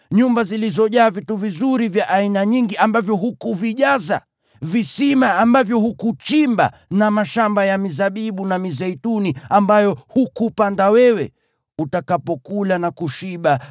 nyumba zilizojaa vitu vizuri vya aina nyingi ambavyo hukuvijaza, visima ambavyo hukuchimba, na mashamba ya mizabibu na mizeituni ambayo hukupanda wewe, basi, utakapokula na kushiba,